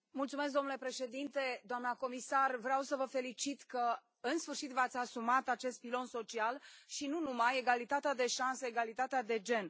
Domnule președinte, doamna comisar, vreau să vă felicit că, în sfârșit, v ați asumat acest pilon social și nu numai egalitatea de șanse, egalitatea de gen.